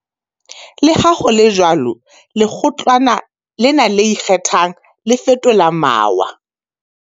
Leha ho le jwalo, Lekgotlana lena le Ikgethang, le fetola mawa.